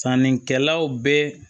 Sannikɛlaw bɛ